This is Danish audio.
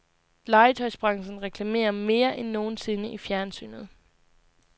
Legetøjsbranchen reklamerer mere end nogen sinde i fjernsynet.